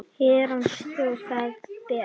Herrans þjónn það ber.